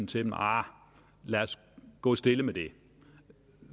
til dem arh lad os gå stille med det